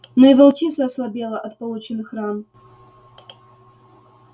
но и волчица ослабела от полученных ран